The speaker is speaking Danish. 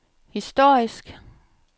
historisk